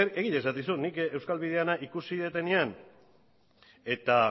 egia esaten dizut nik euskal bidearena ikusi dutenean eta